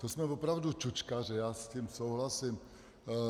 To jsme opravdu čučkaři, já s tím souhlasím.